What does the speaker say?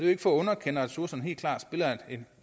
ikke for at underkende at ressourcerne helt klart spiller